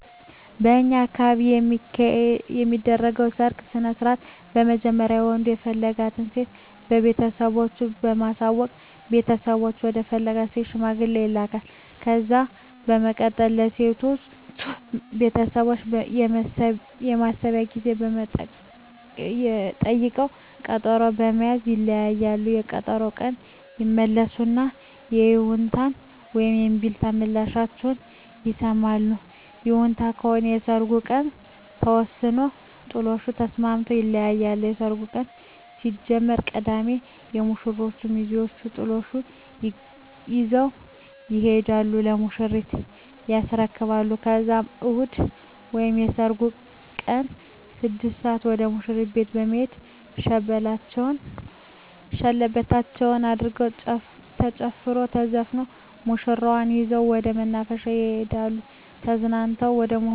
በእኛ አካባቢ የሚካሄደዉ የሰርግ ስነስርአት በመጀመሪያ ወንዱ የፈለጋትን ሴት ለቤተሰቦቹ በማሳወቅ ቤተሰቦቹ ወደ ፈለጋት ሴት ሽማግሌ ይላካል። ከዛ በመቀጠል የሴቶቹ ቤተሰቦች የማሰቢያ ጊዜ ጠይቀዉ ቀጠሮ በመያዝ ይለያያሉ። በቀጠሮዉ ቀን ይመለሱና የይሁንታ ወይም የእምቢታ ምላሻቸዉን ይሰማሉ። ይሁንታ ከሆነ የሰርጉ ቀን ተወስኖ ጥሎሹን ተስማምተዉ ይለያያሉ። የሰርጉ ቀን ሲደርስ ቅዳሜ የሙሽሮቹ ሚዜወች ጥሎሹን ይዘዉ ይሄዱና ለሙሽሪት ያስረክባሉ ከዛም እሁድ ወይም የሰርጉ ቀን 6 ሰአት ወደ ሙሽሪት ቤት በመሄድ ሸለበታቸዉን አድርገዉ ተጨፍሮ ተዘፍኖ ሙሽራዋን ይዘዉ ወደ መናፈሻ በመሄድ ተዝናንተዉ ወደ ሙሽራዉ ቤት ይሄዳሉ። በሚቀጥለዉ ቀን የሙሽሪት ቤተሰብ ምላሽ ይጠሩና ትዉዉቅ አድርገዉ ቤተዘመድ ተዋዉቀዉ ወደ ሙሽራዉ ቤት ይመለሳሉ። በሚቀጥለዉ ቀንም የወንዱ ቤተሰብ በተራዉ ምላሽ ያደ